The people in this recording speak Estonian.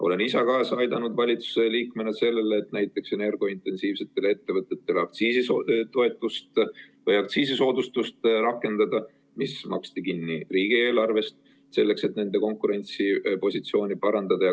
Olen ise valitsuse liikmena kaasa aidanud sellele, et rakendada näiteks energiaintensiivsetele ettevõtetele aktsiisisoodustust, mis maksti kinni riigieelarvest, selleks et nende konkurentsipositsiooni parandada.